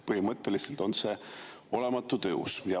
Põhimõtteliselt on see olematu tõus.